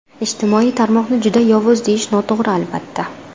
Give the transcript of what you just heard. Ijtimoiy tarmoqni juda yovuz deyish noto‘g‘ri, albatta.